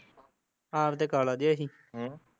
ਆਪ ਤੇ ਕਾਲਾ ਜਿਹਾ ਹੀ ਹਮ